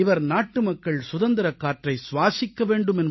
இவர் நாட்டுமக்கள் சுதந்திரக் காற்றை சுவாசிக்க வேண்டும்